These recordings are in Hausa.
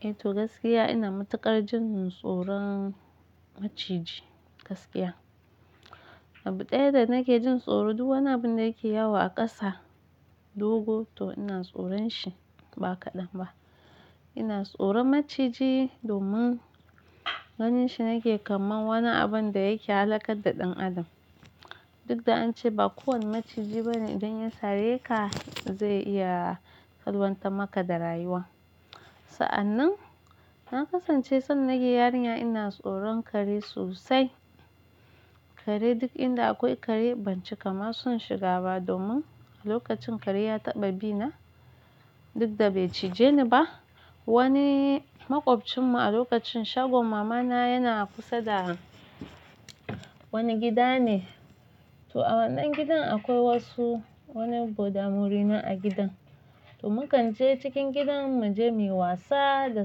Eh to gaskiya ina matuƙar jin tsoron maciji gaskiya. Abu ɗaya da nake jin tsoro duk wani abun da yake yawo a ƙasa, dogo to ina tsoron shi ba kaɗan ba. Ina tsoron maciji domin ganin shi nake kaman wani abun da yake halaka da ɗan adam. Duk da an ce ba kowane maciji bane idan ya sare ka zai iya kalwanta maka da rayuwa. Sa'an nan na kasance san nake yarinya ina tsoron kare sosai. Kare duk inda akwai kare ban cika ma son shiga ba domin a lokacin kare ya taɓa bina duk da bai cije ni ba. Wani maƙwabcinmu a lokacin shagon mama na yana kusa da wani gida ne, to a wannan gidan akwai wasu wani godamori ne a gidan. To mu kan je cikin gidan mu je muyi wasa da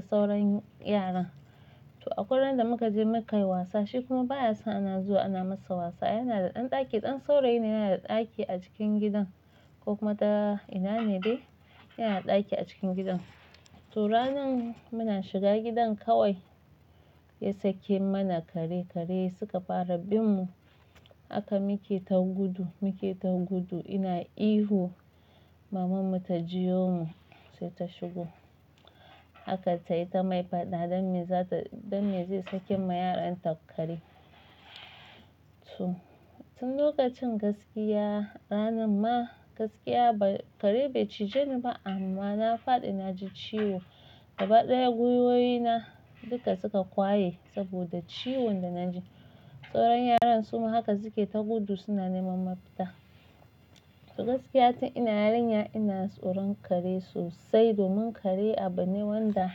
sauran yaran. To akwai ran da muka je muka yi wasa shi kuma baya son ana zuwa ana masa wasa yana da ɗan ɗaki, ɗan saurayi ne yana da ɗaki a cikin gidan. Ko kuma ta ina ne dai yana da ɗaki a cikin gidan. To ranan muna shiga gidan kawai ya sake mana kare, kare suka fara bin mu haka muke ta gudu, muke ta gudu ina ihu mamanmu ta jio mu sai ta shigo. Haka tayi ta mai faɗa don me zata don me zai sake ma yaranta kare. To tun lokacin gaskiya ranan ma gaskiya ba kare bai cije ni ba amma na faɗi na ji ciwo gaba ɗaya gwiwoyi na duka suka ƙwaye saboda ciwon da na ji. Sauran yaran su ma haka suke ta gudu suna neman mafita. To gaskiya tun ina yarinya ina tsoron kare sosai domin kare abu ne wanda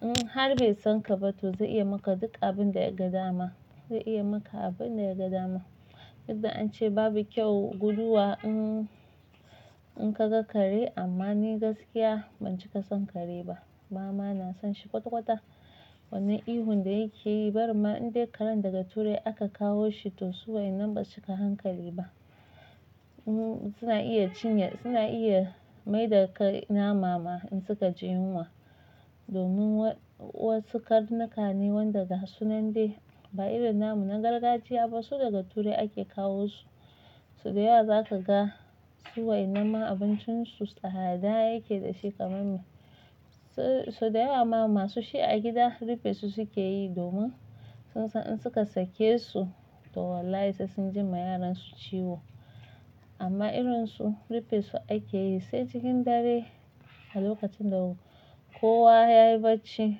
in har bai san ka ba to zai iya maka duk abin da ya ga dama, zai iya maka abin da ya ga dama. Duk da an ce babu kyau guduwa in in ka ga kare amma ni gaskiya ban cika son kare ba. Bama na son shi kwata-kwata. Wannan ihun da yake yi bari ma in dai karen daga turai aka kawo shi to suwai nan ba suka hankali ba. Suna iya cinye suna iya maida kai namama in suka ji yunwa domin wa wasu karnuka ne wanda ga sunan dai ba irin namun na gargajiya ba su daga turai ake kawo su. So da yawa zaka ga su wainan ma abincin su tsada yake da shi ƙaman me. So da yawama ma su shi a gida rufe su suke yi domin sun san in suka sake su to wallahi sai sun ji ma yaransu ciwo. Amma irin su rufe su ake yi sai cikin dare a lokacin da kowa yayi bacci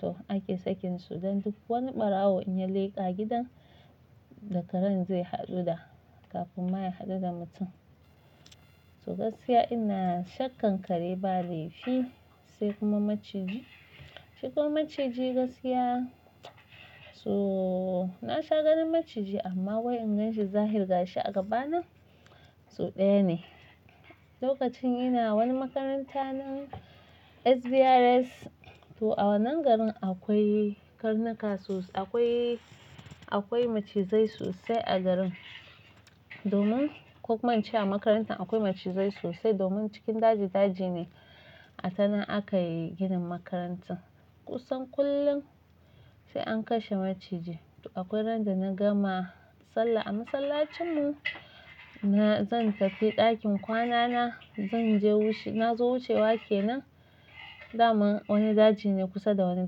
to ake sakin su don duk wani ɓarawo in ya leƙa gidan da karen zai haɗu da kafin ma ya haɗu da mutum. To gaskiya ina shakkan kare ba laifi sai kuma maciji. Shi kuma maciji gaskiya so na sha ganin maciji amma wai in gan shi zahir ga shi a gaba na so ɗaya ne. Lokacin ina wani makaranta na SBRS to a wannan garin akwai karnuka sosai akwai akwai macizai sosai a garin domin kokuma in ce a makarantan akwai macizai sosai domin cikin daji daji ne a tanan aka yi ginin makarantan kusan kullum sai an kashe maciji. To akwai ran da na gama sallah a masallacin mu na zan tafi ɗakin kwana na zan je wuce na zo wucewa ke nan daman wani daji ne kusa da wani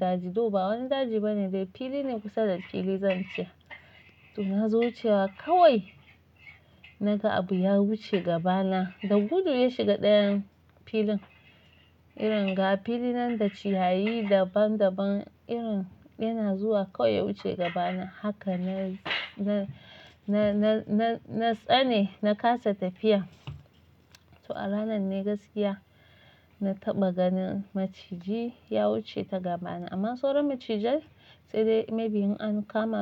daji to ba wani daji bane dai fili ne kusa da fili zan ce. To na zo cewa kawai na ga abu ya wuce gaba na da gudu ya shiga ɗayan filin irin ga fili nan da ciyayi daban daban irin yana zuwa kawai ya wuce gaba na haka na na na na na na tsane na kasa tafiya. To a ranan ne gaskiya na taɓa ganin maciji ya wuce ta gaba na amma sauran macijai sai dai maybe in an kama.